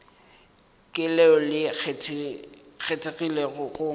ke leo le kgethegilego go